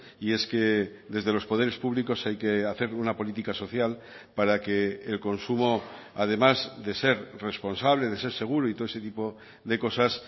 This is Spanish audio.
y es que desde los poderes públicos hay que hacer una política social para que el consumo además de ser responsable de ser seguro y todo ese tipo de cosas